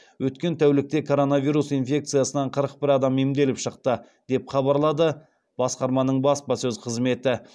өткен тәулікте коронавирус инфекциясынан қырық бір адам емделіп шықты деп хабарлады басқарманың баспасөз қызметі